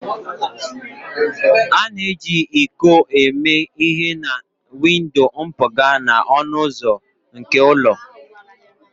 A na-eji iko eme ihe na windo mpụga na ọnụ ụzọ nke ụlọ